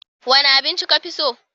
Wane abinci ka fi so?